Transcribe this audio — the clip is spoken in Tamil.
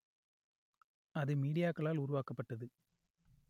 அது மீடியாக்களால் உருவாக்கப்பட்டது